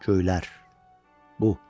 Göylər, bu.